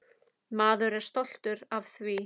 Maður er stoltur af því.